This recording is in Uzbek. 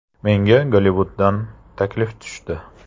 Menga Gollivuddan taklif tushdi.